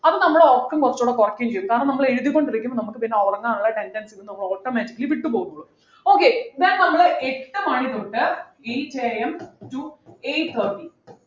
അത് നമ്മളെ ഉറക്കം കുറചുടെ കുറക്കുകയും ചെയ്യും കാരണം നമ്മൾ എഴുതിക്കൊണ്ടിരിക്കുമ്പോ നമുക്ക് പിന്നെ ഉറങ്ങാനുള്ള tendency നിന്ന് നമ്മള് automatically വിട്ടു പോകും okay then നമ്മൾ എട്ടു മണി തൊട്ട് eight am to eight thirty